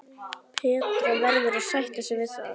Petra verður að sætta sig við það.